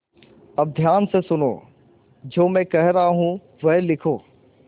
अब ध्यान से सुनो जो मैं कह रहा हूँ वह लिखो